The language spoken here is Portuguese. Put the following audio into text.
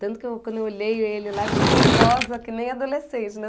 Tanto que quando eu olhei ele lá, eu fiquei nervosa que nem adolescente, né?